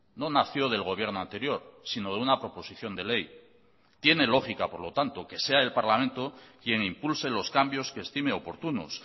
no nació del gobierno anterior sino de una proposición de ley tiene lógica por lo tanto que sea el parlamento quien impulse los cambios que estime oportunos